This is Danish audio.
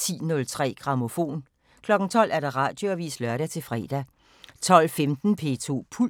10:03: Grammofon 12:00: Radioavisen (lør-fre) 12:15: P2 Puls